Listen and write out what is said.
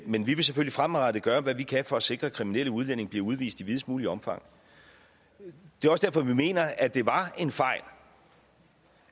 men vi vil selvfølgelig fremadrettet gøre hvad vi kan for at sikre at kriminelle udlændinge bliver udvist i videst muligt omfang det også derfor vi mener at det var en fejl